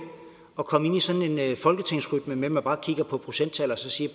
at komme ind i sådan en folketingsrytme med at man kigger på procenttal og siger